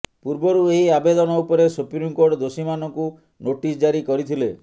ପୂର୍ବରୁ ଏହି ଆବେଦନ ଉପରେ ସୁପ୍ରିମକୋର୍ଟ ଦୋଷୀମାନଙ୍କୁ ନୋଟିସ ଜାରି କରିଥିଲେ